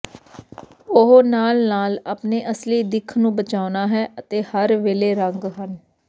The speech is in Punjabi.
ਉਹ ਨਾਲ ਨਾਲ ਆਪਣੇ ਅਸਲੀ ਦਿੱਖ ਨੂੰ ਬਚਾਉਣਾ ਹੈ ਅਤੇ ਹਰ ਵੇਲੇ ਰੰਗ ਹਨ